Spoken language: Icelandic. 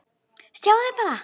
Sjáðu bara!